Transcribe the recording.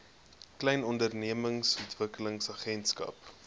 klein ondernemings ontwikkelingsagentskap